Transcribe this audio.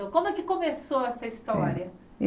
Como é que começou essa história?